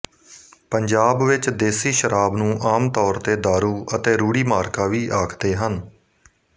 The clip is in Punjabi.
ਪੰਜਾਬ ਵਿੱਚ ਦੇਸੀ ਸ਼ਰਾਬ ਨੂੰ ਆਮ ਤੌਰ ਤੇ ਦਾਰੂ ਅਤੇ ਰੂੜੀ ਮਾਰਕਾ ਵੀ ਆਖਦੇ ਹਨ